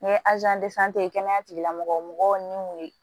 N ye kɛnɛya tigilamɔgɔw ni mun ye